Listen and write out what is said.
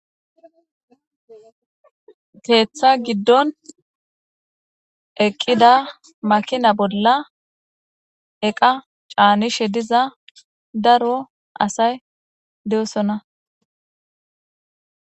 Keeththa giddon eqqida makina bolla eqa caanishe diza daro asay de'osona